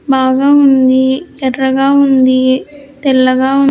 బాగా ఉంది ఎర్రగా ఉంది తెల్లగా ఉం--